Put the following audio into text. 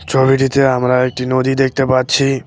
ছবিটিতে আমরা একটি নদী দেখতে পাচ্ছি।